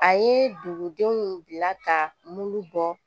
A ye dugudenw bila ka muru bɔ